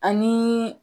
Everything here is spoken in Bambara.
Ani